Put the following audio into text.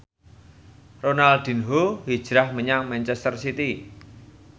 Ronaldinho hijrah menyang manchester city